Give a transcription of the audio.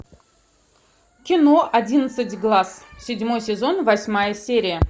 кино одиннадцать глаз седьмой сезон восьмая серия